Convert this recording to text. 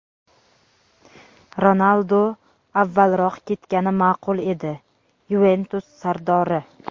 Ronaldu avvalroq ketgani maʼqul edi – "Yuventus" sardori.